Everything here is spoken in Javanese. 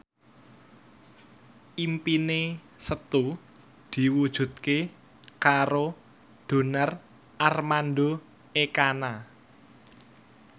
impine Setu diwujudke karo Donar Armando Ekana